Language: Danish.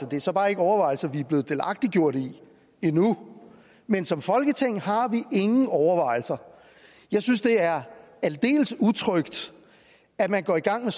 det er så bare ikke overvejelser vi er blevet delagtiggjort i endnu men som folketing har vi ingen overvejelser jeg synes det er aldeles utrygt at man går i gang med